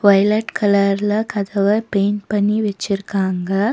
Violet கலர்ல கதவ paint பண்ணி வெச்சிர்க்காங்க.